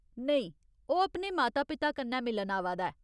नेईं, ओह् अपने माता पिता कन्नै मिलन आवा दा ऐ।